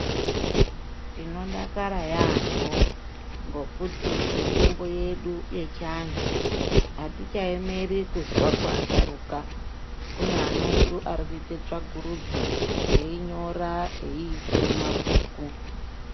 Tinodakara yaamho ngekuti mitombo yedu yechiantu atichaemeri kuzwa kuasharuka. Kune ana edu arikuite tsvakurudzo einyora eiise mumabhuku.